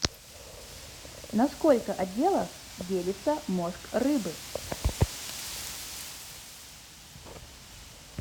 на сколько отделов делится мозг рыбы